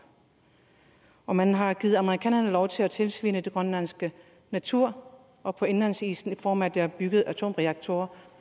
og man har givet amerikanerne lov til at tilsvine den grønlandske natur og indlandsisen i form af at der er bygget atomreaktorer